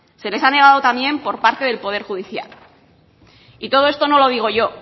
se les ha negado también por parte del poder judicial y todo esto no lo digo yo